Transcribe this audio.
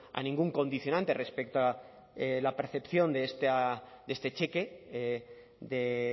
a ningún condicionante respecto a la percepción de este cheque de